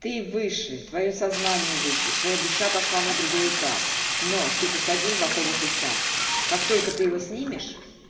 ты выше твоё сознание выше твоя душа пошла на другой этап но ты посадил в оковы христианство как только ты его снимешь